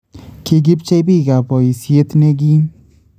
Kikipchei biiikab boisyet nekiim